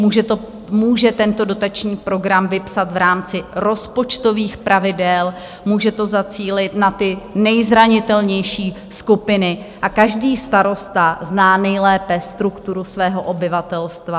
Může tento dotační program vypsat v rámci rozpočtových pravidel, může to zacílit na ty nejzranitelnější skupiny, a každý starosta zná nejlépe strukturu svého obyvatelstva.